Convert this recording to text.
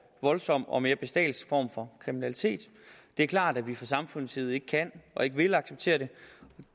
voldsom og mere bestialsk form for kriminalitet det er klart at vi fra samfundets side ikke kan og ikke vil acceptere